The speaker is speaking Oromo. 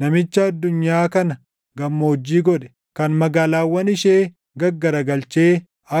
namicha addunyaa kana gammoojjii godhe, kan magaalaawwan ishee gaggaragalchee